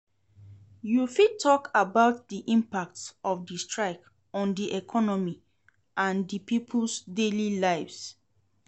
You fit talk about di impact of di strike on di economy and di people's daily lives.